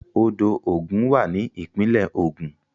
Odò Ògùn wà ní ìpínlẹ̀ Ògun.